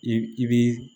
I i bi